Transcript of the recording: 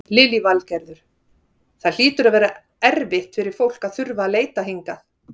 Lillý Valgerður: Það hlýtur að vera erfitt fyrir fólk að þurfa að leita hingað?